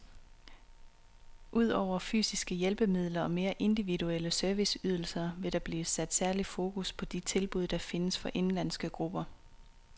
Ud over fysiske hjælpemidler og mere individuelle serviceydelser, vil der blive sat særlig fokus på de tilbud, der findes for indenlandske grupper.